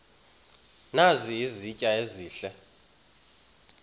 nazi izitya ezihle